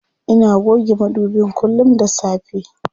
Ina goge madubin kullum da safe.